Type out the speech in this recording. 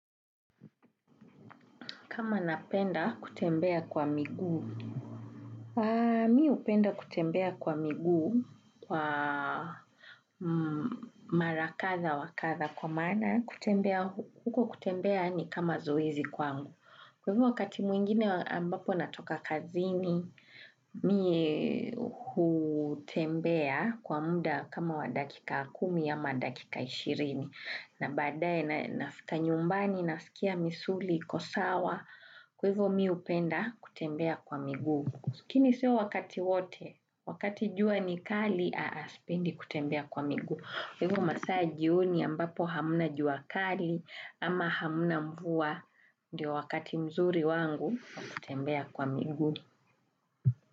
Kama napenda kutembea kwa miguu, mi upenda kutembea kwa miguu, marakadha wakadha kwa mana, kutembea, huko kutembea ni kama zoizi kwa angu. Kwa hivyo wakati mwingine ambapo natoka kazini, mi utembea kwa muda kama wa dakika akumi ya ma dakika ishirini. Na badae na nafita nyumbani na sikia misuli, kosawa, kuivu miupenda kutembea kwa miguu. Sikini siyo wakati wote, wakati jua ni kali, spendi kutembea kwa migu. Hivu masaji uni ambapo hamuna jua kali ama hamuna mvua, ndio wakati mzuri wangu kutembea kwa miguu.